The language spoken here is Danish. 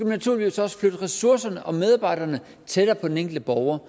naturligvis også flytte ressourcerne og medarbejderne tættere på den enkelte borger